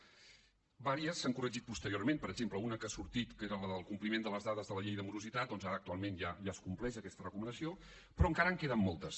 unes quantes s’han corregit posteriorment per exemple una que ha sortit que era la del compliment de les dades de la llei de morositat doncs ara actualment ja es compleix aquesta recomanació però encara en queden moltes